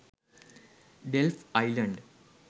delft island